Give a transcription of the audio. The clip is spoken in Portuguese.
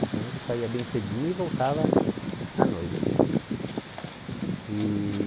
Então ele saía bem cedinho e voltava à noite. E